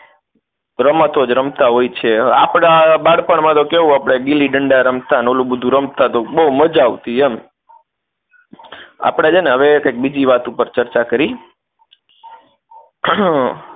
રમતો જ રમતા હોય છે આપણાં બાળપણમાં તો કેવું આપણે ગીલીદંડા રમતા ને ઓલું બધુ રમતા તો બોવ મજા આવતી એમ આપણે છે ને હવે કઈક બીજી વાત પર ચર્ચા કરી એ